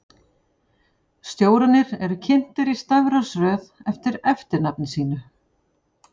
Stjórarnir eru kynntir í stafrófsröð eftir eftirnafni sínu.